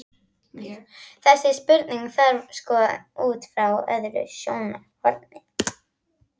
Þessa spurningu þarf að skoða út frá öðru sjónarhorni.